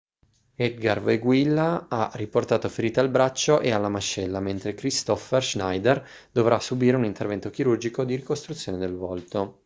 edgar veguilla ha riportato ferite al braccio e alla mascella mentre kristoffer schneider dovrà subire un intervento chirurgico di ricostruzione del volto